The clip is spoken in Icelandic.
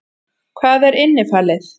Hvað er innifalið?